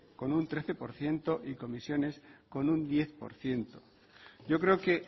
con un trece por ciento y comisiones con un diez por ciento yo creo que